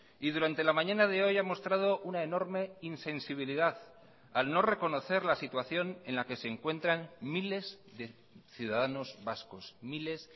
y durante la mañana de hoy ha mostrado una enorme insensibilidad al no reconocer la situación en la que se encuentran miles de ciudadanos vascos miles